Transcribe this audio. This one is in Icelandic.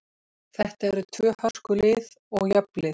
Þetta eru tvö hörku lið og jöfn lið.